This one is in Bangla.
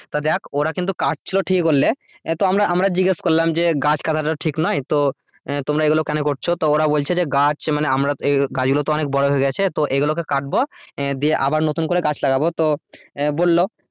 তা দেখ ওরা কিন্তু কাটছিলো ঠিক বললে তো আমরা জিজ্ঞাস করলাম যে গাছ কাটাটা তো ঠিক নয় তো তোমরা এগুলো কেন করছো তো ওরা বলছে যে গাছ, মানে আমরা গাছ এগুলো মানে বড় হয়ে গেছে তো এগুলোকে কাটবো দিয়ে আবার নতুন করে গাছ লাগাবো তো বললো,